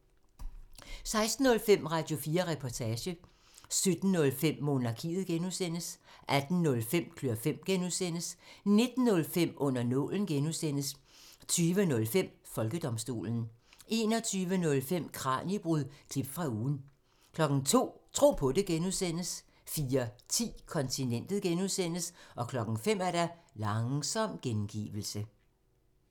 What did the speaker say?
16:05: Radio4 Reportage 17:05: Monarkiet (G) 18:05: Klør fem (G) 19:05: Under nålen (G) 20:05: Folkedomstolen 21:05: Kraniebrud – klip fra ugen 02:00: Tro på det (G) 04:10: Kontinentet (G) 05:00: Langsom gengivelse